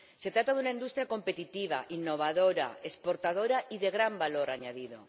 Se trata de una industria competitiva, innovadora, exportadora y de gran valor añadido.